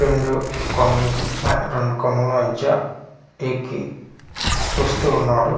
రెండు కొమె రెండు కొమ్మల మధ్య ఎక్కి చూస్తువున్నాడు.